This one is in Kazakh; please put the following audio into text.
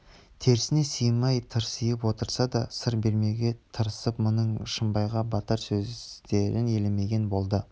терісіне сыймай тырсиып отырса да сыр бермеуге тырысып мұның шымбайға батар сөздерн елемеген болды